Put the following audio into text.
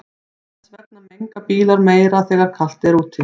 Þess vegna menga bílar meira þegar er kalt úti.